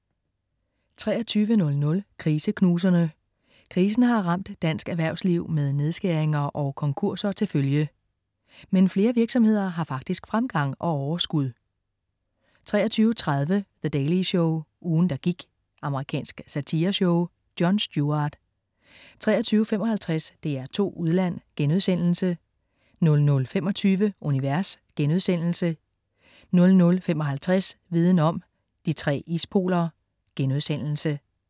23.00 Kriseknuserne. Krisen har ramt dansk erhvervsliv med nedskæringer og konkurser til følge. Men flere virksomheder har faktisk fremgang og overskud 23.30 The Daily Show. Ugen, der gik. Amerikansk satireshow. Jon Stewart 23.55 DR2 Udland* 00.25 Univers* 00.55 Viden om: De tre ispoler*